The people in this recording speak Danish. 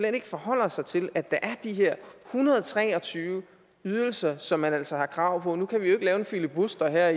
ikke forholder sig til at der er de her en hundrede og tre og tyve ydelser som man altså har krav på nu kan vi jo ikke lave en filibuster her